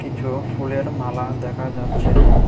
কিছু ফুলের মালা দেখা যাচ্ছে।